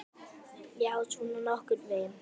Já, svona nokkurn veginn.